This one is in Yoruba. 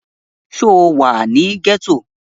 Sọ wà ní gẹ́tọ̀?